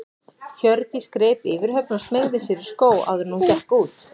Hjördís greip yfirhöfn og smeygði sér í skó áður en hún gekk út.